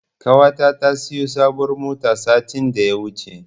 Ƙawata ta siyo sabuwar mota satin da ya wuce.